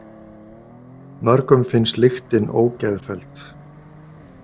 Mörgum finnst lyktin ógeðfelld.